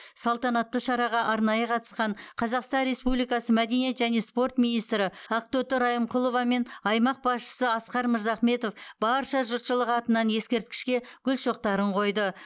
салтанатты шараға арнайы қатысқан қазақстан республикасы мәдениет және спорт министрі ақтоты райымқұлова мен аймақ басшысы асқар мырзахметов барша жұртшылық атынан ескерткішке гүл шоқтарын қойды